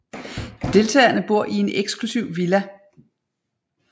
Deltagerne bor i en eksklusiv villa